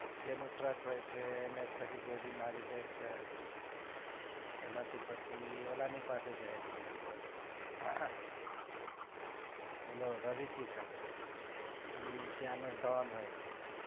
જેનો truck હોય છે એને જ પછી ગોલી મારી દે છે એના થી પછી ઓલા ની પાસે જાય છે હમ ઓલો રવિ કિસન ઈ ત્યાનો don હોય છે.